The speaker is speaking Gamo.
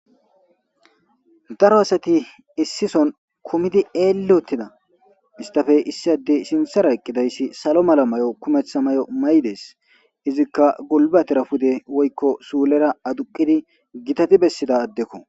Daro asati issison kumidi eelli uttida. Istafe issi addey sinthara eqqidayssi salo mala mayo kumetha mayo mayides. Izikka gulbbatera pude woykko suulera aduqqidi gitati bessida addekko.